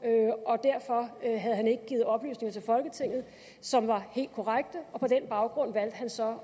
og derfor havde han ikke givet oplysninger til folketinget som var helt korrekte og på den baggrund valgte han så at